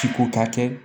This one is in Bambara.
Ciko ka kɛ